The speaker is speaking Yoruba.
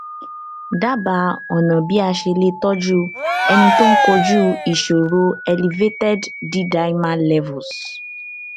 dábàá ọnà bí a ṣe lè tọjú ẹni tó ń kojú ìṣòro elevated ddimer levels